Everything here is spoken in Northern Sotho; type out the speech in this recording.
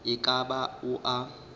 e ka ba o a